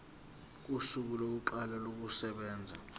kosuku lokuqala kokusebenza